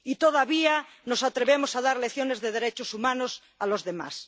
Y todavía nos atrevemos a dar lecciones de derechos humanos a los demás.